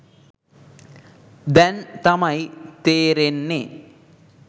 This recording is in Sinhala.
දැන් තමයි තේරෙන්නේ.